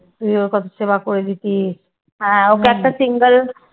তুই ওর কত সেবা করে দিতিস?